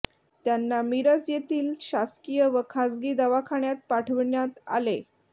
त्यांना मिरज येथील शासकीय व खासगी दवाखान्यात पाठविण्यात आलेे